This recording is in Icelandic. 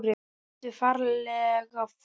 Ertu ferlega fúll?